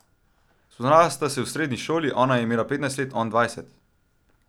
Spoznala sta se v srednji šoli, ona je imela petnajst let, on dvajset.